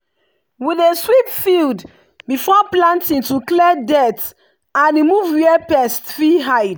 we dey sweep field before planting to clear dirt and remove where pest fit hide.